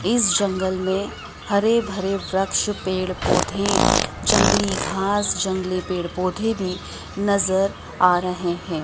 इस जंगल में हरे भरे वृक्ष पेड़ पौधे जंगली घास जंगली पेड़ पौधे भी नजर आ रहे हैं।